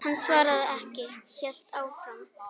Hann svaraði ekki, hélt áfram.